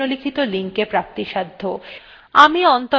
এই বিষয় বিস্তারিত তথ্য নিম্নলিখিত লিঙ্কএ প্রাপ্তিসাধ্য